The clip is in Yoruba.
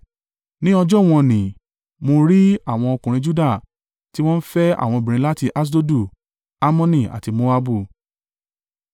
Ní ọjọ́ wọ̀n-ọn-nì, mo rí àwọn ọkùnrin Juda tí wọ́n fẹ́ àwọn obìnrin láti Aṣdodu, Ammoni àti Moabu.